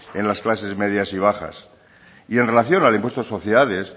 en las clases medias y bajas y en relación al impuesto de sociedades